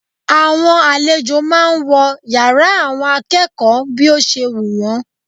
Àwọn àlejò máà ń wọ yàrá àwọn akẹ́kọ̀ọ́ bí ó ṣe wù wọ́n.